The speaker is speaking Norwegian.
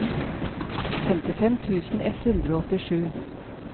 femtifem tusen ett hundre og åttisju